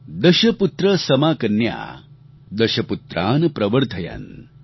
દશપુત્ર સમાકન્યા દશપુત્રાન પ્રવર્ધયન્